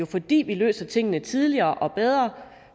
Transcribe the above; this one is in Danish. fordi vi løser tingene tidligere og bedre